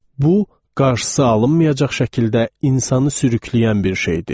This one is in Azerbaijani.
Bu, qarşısı alınmayacaq şəkildə insanı sürükləyən bir şeydir.